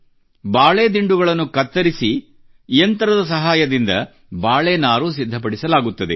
ಬಾಳೆ ದಿಂಡುಗಳನ್ನು ಕತ್ತರಿಸಿ ಯಂತ್ರದ ಸಹಾಯದಿಂದ ಬಾಳೆ ನಾರು ಸಿದ್ಧಪಡಿಸಲಾಗುತ್ತದೆ